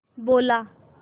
बोला